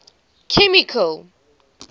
chemical